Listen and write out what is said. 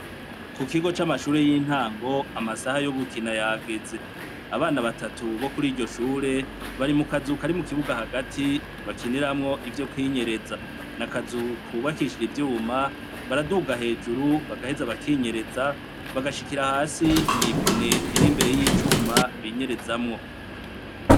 Ku kigo camashure yintango amasaha yo gukina yageze abana batatu bo kuriryo shure bari mu kazu kari mu kibuga hagati bakiniramwo ivyo kwinyereza nakazu kubakishijwe ivyuma baraduga hejuru bagaheza bakinyereza bagshikira hasi mwipine riri imbere yicuma binyerezamwo